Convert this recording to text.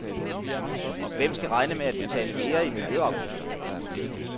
Hvem skal regne med at betale mere i miljøafgifter?